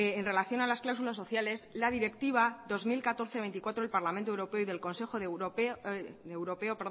en relación a las cláusulas sociales la directiva dos mil catorce barra veinticuatro del parlamento europeo y de consejo europeo